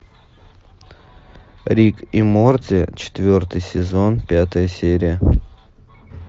рик и морти четвертый сезон пятая серия